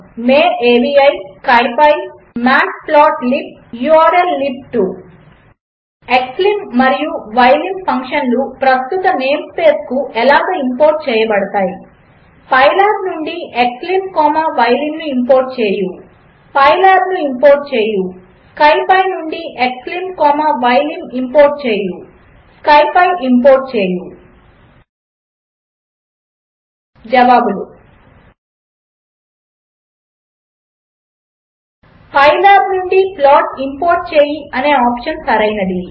● Mayavi ● scipy ● matplotlib ● ఉర్ల్లిబ్2 ●●● xlim మరియు ylim ఫంక్షన్లు ప్రస్తుత నేం స్పేస్కు ఇలాగ ఇంపోర్ట్ చేయబడతాయి ● పైలాబ్ నుండి క్స్లిమ్ కామా యిలిమ్ ను ఇంపోర్ట్ చేయి ● పైలాబ్ ను ఇంపోర్ట్ చేయి ● స్కిపీ నుండి క్స్లిమ్ కామా యిలిమ్ ఇంపోర్ట్ చేయి ● స్కిపీ ఇంపోర్ట్ చేయి ●● జవాబులు 1 పైలాబ్ నుండి ప్లాట్ ఇంపోర్ట్ చేయి అనే ఆప్షన్ సరైనది